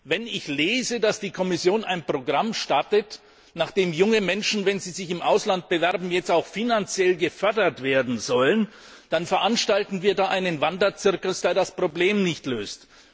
Wenn ich lese, dass die Kommission ein Programm startet, nach dem junge Menschen, wenn sie sich im Ausland bewerben, jetzt auch finanziell gefördert werden sollen, dann veranstalten wir da einen Wanderzirkus, der das Problem nicht löst.